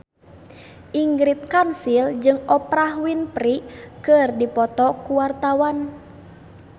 Ingrid Kansil jeung Oprah Winfrey keur dipoto ku wartawan